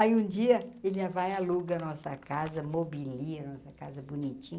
Aí, um dia, ele vai aluga nossa casa, mobilia nossa casa bonitinho.